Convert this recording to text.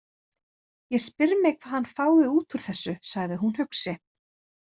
Ég spyr mig hvað hann fái út úr þessu, sagði hún hugsi.